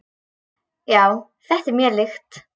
Já, þetta er mér líkt.